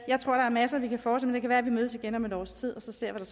jeg tror der er masser vi kan fortsætte med det kan være at vi mødes igen om et års tid og ser